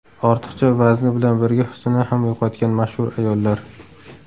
Ortiqcha vazni bilan birga husnini ham yo‘qotgan mashhur ayollar .